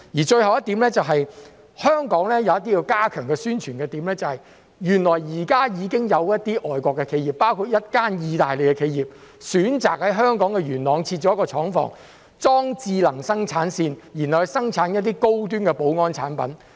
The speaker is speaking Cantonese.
最後一點，香港有一些需要加強宣傳的點，原來現時已經有一些外國企業，包括一間意大利企業選擇在香港元朗設置廠房，安裝智能生產線，生產一些高端保安產品。